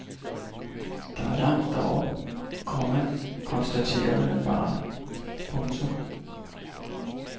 Der er langt derop, komma konstaterede han bare. punktum